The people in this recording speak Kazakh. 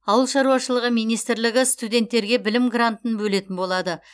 ауыл шаруашылығы министрлігі студенттерге білім грантын бөлетін болады